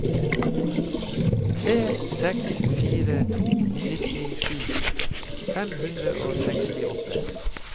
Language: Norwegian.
tre seks fire to nittisju fem hundre og sekstiåtte